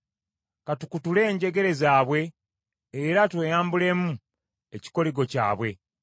“Ka tukutule enjegere zaabwe, era tweyambulemu ekikoligo kyabwe.”